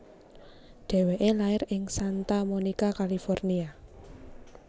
Dheweke lair ing Santa Monica California